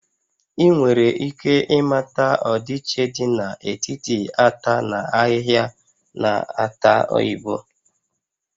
Ị nwere ike ịmata ọdịiche dị n'etiti ata na ahịhịa na-ata oyibo?